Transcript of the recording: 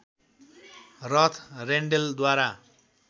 रथ रेन्डेलद्वारा